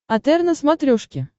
отр на смотрешке